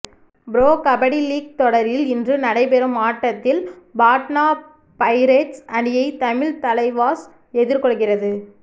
pro kabaddi league தொடரில் இன்று நடைபெறும் ஆட்டத்தில் பாட்னா பைரேட்ஸ் அணியை தமிழ் தலைவாஸ் எதிர்கொள்கிறது